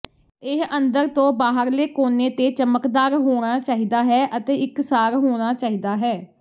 ਇਹ ਅੰਦਰ ਤੋਂ ਬਾਹਰਲੇ ਕੋਨੇ ਤੇ ਚਮਕਦਾਰ ਹੋਣਾ ਚਾਹੀਦਾ ਹੈ ਅਤੇ ਇਕਸਾਰ ਹੋਣਾ ਚਾਹੀਦਾ ਹੈ